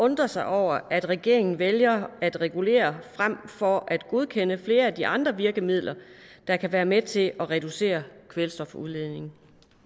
undrer sig over at regeringen vælger at regulere frem for at godkende flere af de andre virkemidler der kan være med til at reducere kvælstofudledningen